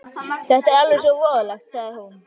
Þetta er alveg svo voðalegt, sagði hún.